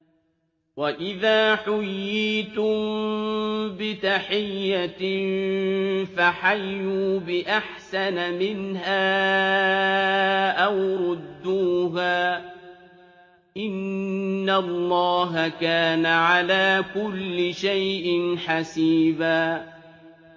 وَإِذَا حُيِّيتُم بِتَحِيَّةٍ فَحَيُّوا بِأَحْسَنَ مِنْهَا أَوْ رُدُّوهَا ۗ إِنَّ اللَّهَ كَانَ عَلَىٰ كُلِّ شَيْءٍ حَسِيبًا